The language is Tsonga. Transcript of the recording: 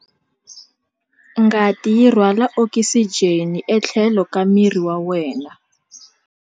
Ngati yi rhwala okisijeni etlhelo ka miri wa wena.